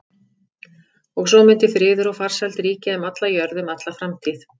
Og svo mundi friður og farsæld ríkja um alla jörð um alla framtíð.